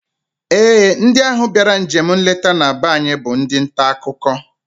Ee, ndị ahụ bịara njem nleta na be anyị bụ ndị ntaakụkọ